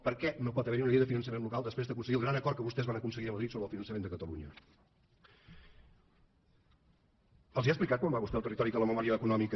per què no pot haverhi una llei de finançament local després d’aconseguir el gran acord que vostès van aconseguir a madrid sobre el finançament de catalunya els ha explicat quan va vostè al territori que la memòria econòmica